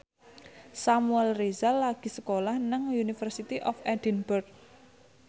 Samuel Rizal lagi sekolah nang University of Edinburgh